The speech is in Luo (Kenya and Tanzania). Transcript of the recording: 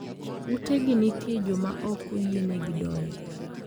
Utegi nitie joma ok oyienegi donje.